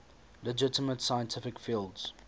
legitimate scientific fields